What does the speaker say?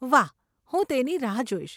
વાહ, હું તેની રાહ જોઈશ.